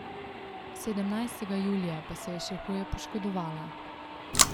Sedemnajstega julija pa se je še huje poškodovala.